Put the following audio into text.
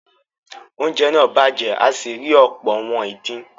oúnjẹ náà bàjẹ́ a sì rí ọ̀pọ̀ “ àwọn ìdin”.